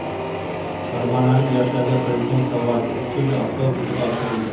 Farg‘onalik yoshlarga Prezident sovg‘asi Isuzu avtobusi topshirildi.